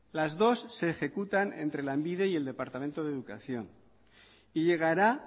las dos se ejecutan entre lanbide y el departamento de educación y llegará